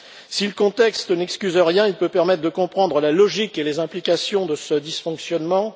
Si le contexte n'excuse rien, il peut permettre de comprendre la logique et les implications de ce dysfonctionnement.